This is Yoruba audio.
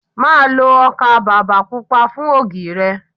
Má lo ọkà bàbà Pupa fún ògì rẹ.